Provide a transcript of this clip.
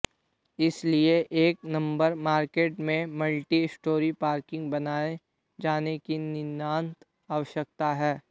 इसलिए एक number market में मल्टी स्टोरी पार्किंग बनाए जाने की नितांत आवश्यकता है